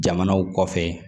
Jamanaw kɔfɛ